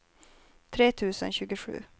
tre tusen tjugosju